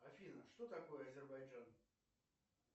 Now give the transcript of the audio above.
афина что такое азербайджан